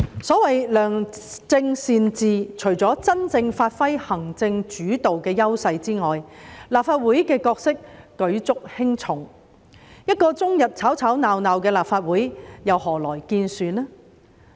所謂良政善治，除了真正發揮行政主導的優勢外，立法會的角色舉足輕重，一個終日吵吵鬧鬧的立法會又何來建樹呢？